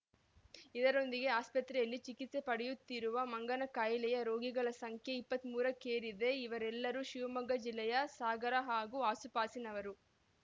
ಇದರೊಂದಿಗೆ ಆಸ್ಪತ್ರೆಯಲ್ಲಿ ಚಿಕಿತ್ಸೆ ಪಡೆಯುತ್ತಿರುವ ಮಂಗನಕಾಯಿಲೆಯ ರೋಗಿಗಳ ಸಂಖ್ಯೆ ಇಪ್ಪತ್ತ್ ಮೂರಕ್ಕೇರಿದೆ ಇವರೆಲ್ಲರೂ ಶಿವಮೊಗ್ಗ ಜಿಲ್ಲೆಯ ಸಾಗರ ಹಾಗೂ ಆಸುಪಾಸಿನವರು